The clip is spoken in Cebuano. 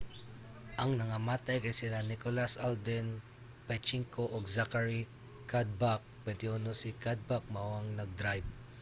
ang nangamatay kay sila nicholas alden 25 ug zachary cuddeback 21. si cuddeback mao ang nag-drayb